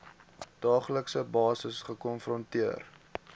daaglikse basis gekonfronteer